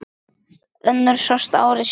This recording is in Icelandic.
Önnur sást ári síðar.